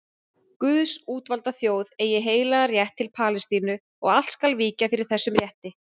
Guðs útvalda þjóð eigi heilagan rétt til Palestínu og allt skal víkja fyrir þessum rétti.